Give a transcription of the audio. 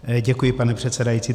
Děkuji, pane předsedající.